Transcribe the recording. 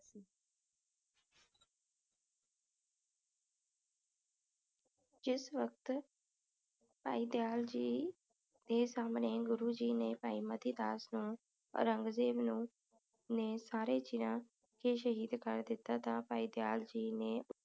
ਜਿਸ ਵਕਤ ਭਾਈ ਦਯਾਲ ਜੀ ਦੇ ਸਾਹਮਣੇ ਗੁਰੂ ਜੀ ਨੇ ਭਾਈ ਮਤੀ ਦਾਸ ਨੂੰ ਔਰੰਗਜੇਬ ਨੂੰ ਨੇ ਸਾਰੇ ਚਿਰਾਂ ਸ਼ਹੀਦ ਕਰ ਦਿੱਤਾ ਤਾ ਭਾਈ ਦਯਾਲ ਜੀ ਨੇ